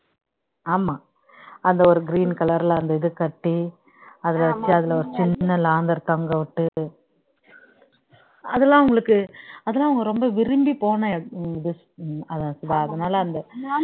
ஆமா அந்த ஒரு green color ல அந்த இது கட்டி அதுல ஒரு ல சின்ன லாந்தர் தொங்கவிட்டு அதுல்லாம் உங்களுக்கு அதெல்லாம் ரொம்ப விரும்பிபோன அதான் சுதா அதுனால